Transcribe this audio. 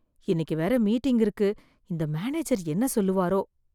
இன்னைக்கு வேற மீட்டிங் இருக்கு இந்த மேனேஜர் என்ன சொல்லுவாரோ?